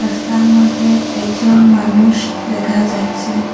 রাস্তার মধ্যে একজন মানুষ দেখা যাচ্ছে।